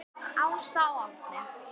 Ása og Árni.